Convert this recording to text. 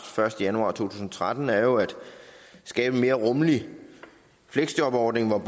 første januar to tusind og tretten er jo at skabe en mere rummelig fleksjobordning hvor